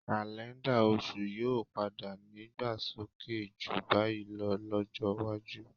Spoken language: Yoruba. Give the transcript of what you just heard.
Kaléńdà oṣù yóò padà nídàgbàsókè jù báyìí lọ lọ́jọ́ iwájú.